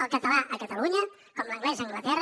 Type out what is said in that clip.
el català a catalunya com l’anglès a anglaterra